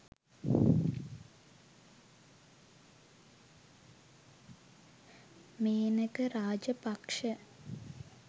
menaka rajapaksha